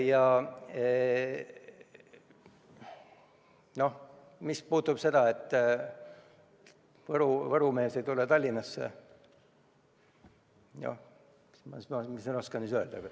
Ja mis puudutab seda, et Võru mees ei tule Tallinnasse, siis mis ma ikka oskan öelda.